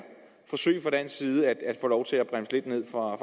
fra dansk side forsøge at få lov til at bremse lidt ned for